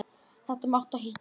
Þetta máttu ekki gera.